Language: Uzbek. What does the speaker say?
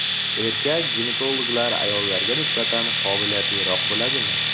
Erkak ginekologlar ayollarga nisbatan qobiliyatliroq bo‘ladimi?